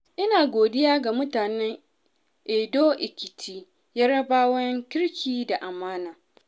Ina godiya ga mutanen Ado Ekiti, Yarabawan kirki da amana.